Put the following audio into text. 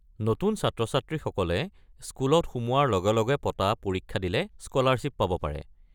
নতুন ছাত্ৰ-ছাত্ৰীসকলে স্কুলত সোমোৱাৰ লগে লগে পতা পৰীক্ষা দিলে স্কলাৰশ্বিপ পাব পাৰে।